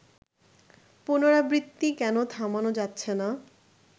পুনরাবৃত্তি কেন থামানো যাচ্ছে না